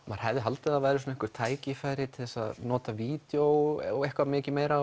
maður hefði haldið að væri einhver tækifæri til að nota vídeó og eitthvað mikið meira